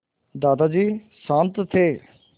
दादाजी शान्त थे